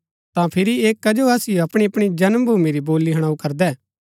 ता फिरी ऐह कजो असिओ अपणी अपणी जन्म भूमी री बोली हुणाऊ करदै